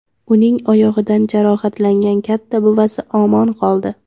Uning oyog‘idan jarohatlangan katta buvasi omon qoldi.